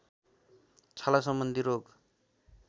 छाला सम्बन्धी रोग